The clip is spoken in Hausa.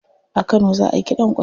A kano za ayi kiɗan kwarya.